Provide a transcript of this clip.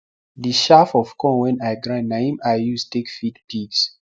the shaff of corn wen i grind na im i use take feed pigs